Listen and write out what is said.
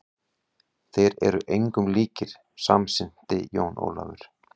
Þeir eru engum líkir, samsinnti Jón Ólafur.